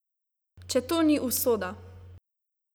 Če to ni usoda!